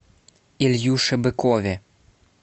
ильюше быкове